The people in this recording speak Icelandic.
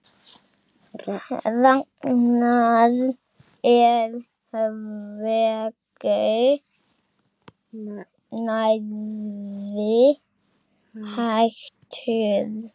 Ragnar er hvergi nærri hættur.